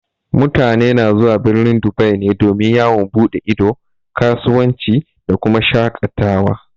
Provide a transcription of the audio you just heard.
Mutane na zuwa birnin Dubai ne domin yawon buɗe ido, kasuwanci da kuma shaƙatawa.